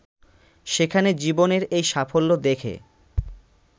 সেখানে জীবনের এই সাফল্য দেখে